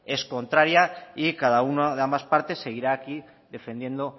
es contraria y cada una de las partes seguirá aquí defendiendo